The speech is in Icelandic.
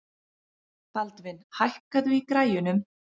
Baldvin, hækkaðu í græjunum.